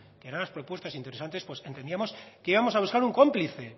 que eran las propuestas interesantes pues entendíamos que íbamos a buscar un cómplice